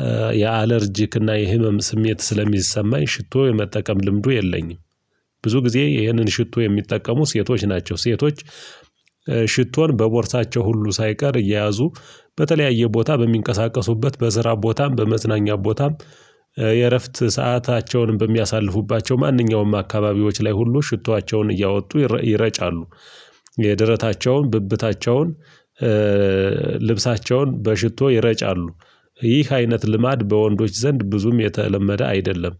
እ የአለርጂክና የህመም ስሜት ስለሚሰማኝ ሽቶ የመጠቀም ልምዱ የለኝም። ብዙ ጊዜ ይህንን ሽቶ የሚጠቀሙ ሴቶች ናቸው ሴቶች እ ሽቶን በቦርሳቸው ሁሉ ሳይቀር እየያዙ በተለያየ ቦታ በሚንቀሳቀሱበት በስራ ቦታም በመዝናኛ ቦታም የእረፍት ሰዓታቸውንም በሚያሳልፉባቸው ማንኛውም አካባቢዎች ላይ ሁሉ ሽቶአቸውን እያወጡ ይረ ይረጫሉ የደረታቸውን ብብታቸውን እእ ልብሳቸውን በሽቶ ይረጫሉ። ይህ አይነት ልማድ በወንዶች ዘንድ ብዙም የተለመደ አይደለም።